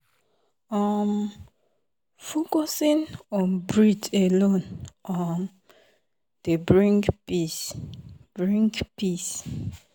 um focusing on breath alone um dey bring peace. bring peace.